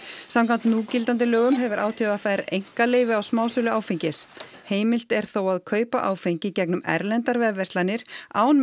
samkvæmt núgildandi lögum hefur á t v r einkaleyfi á smásölu áfengis heimilt er þó að kaupa áfengi í gegnum erlendar vefverslanir án